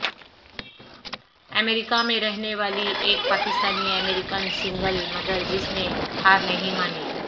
امریکہ میں رہنے والی ایک پاکستانی امریکن سنگل مدر جس نے ہار نہیں مانی